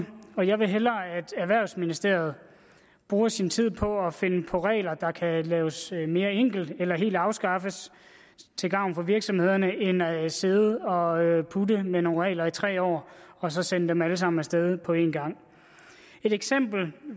og jeg vil hellere at erhvervsministeriet bruger sin tid på at finde regler der kan laves mere enkle eller helt afskaffes til gavn for virksomhederne end at man sidde og putte med nogle regler i tre år og så sende dem alle sammen af sted på en gang et eksempel